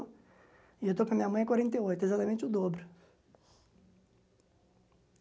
E eu estou com a minha mãe há quarenta e oito, exatamente o dobro.